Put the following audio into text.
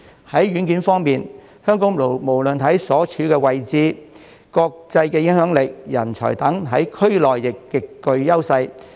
在軟件方面，香港無論在地理位置、國際影響力及人才等，在區內亦極具優勢。